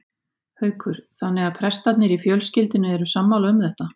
Haukur: Þannig að prestarnir í fjölskyldunni eru sammála um þetta?